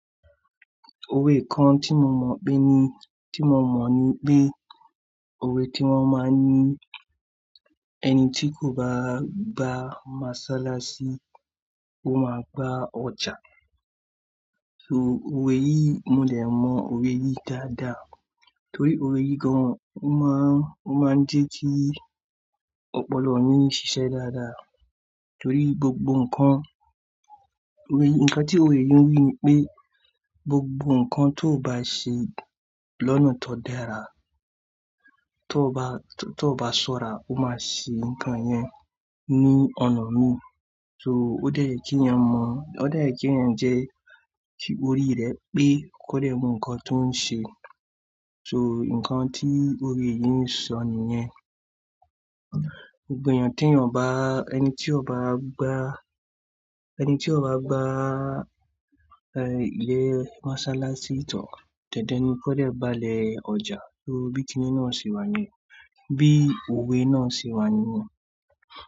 Òwe kan tí mo mọ̀ pé ni, tí mo mọ̀ ni pé, òwe tí wọ́n máa ń ni ẹni tí kò bá gba mosalasí, ó máa gba ọjà. So òwe yìí, mo dè mọ òwe yìí dáadáa torí òwe yìí gan ò máa, ó máa ń jẹ́ kí ọ̀pọ̀lọpọ̀ mì ṣiṣẹ́ dáadáa. Torí gbogbo nǹkan, òwe, nǹkan tí òwe yìí ń wí ni pé gbogbo nǹkan tó ò bá ṣẹ lọnà tó dára, tó ò bá, tó, tó ò bá ṣọ́ra, ó máa ṣe nǹkan yẹn ní ọ̀nà mìí. So ó dẹ́ye kí ènìyàn mọ̀, ó dẹ́ye kí ènìyàn jẹ́ kí orí rẹ̀ pé kọ́dẹ́ mọ̀ nǹkan tó ń ṣe. So nǹkan tí òwe yìí ń sọ nìyẹn. Gbogbo ènìyàn tí ènìyàn bá, ẹni tí ò bá gbá ilé mọ́sálásí, dandan ni kódẹ́ gbá le ọjà. Torí bí kiní náà ṣe wà ní, bí òwe náà ṣe wà níyẹn.